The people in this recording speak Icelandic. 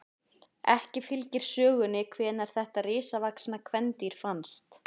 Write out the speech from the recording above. Ekki fylgir sögunni hvenær þetta risavaxna kvendýr fannst.